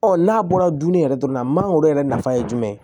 Ɔ n'a bɔra dumuni yɛrɛ dɔrɔn na mangoro yɛrɛ nafa ye jumɛn ye